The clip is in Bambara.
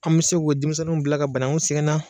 An man se k'o denmisɛninw bila ka banagun sigan.